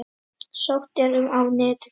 Sótt er um á netinu.